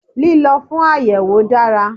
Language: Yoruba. Lílo fún àyèwò dára